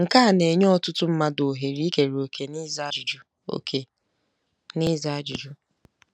Nke a na-enye ọtụtụ mmadụ ohere ikere òkè n'ịza ajụjụ òkè n'ịza ajụjụ.